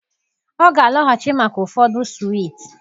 Ọ ga-alọghachi maka ụfọdụ swiiti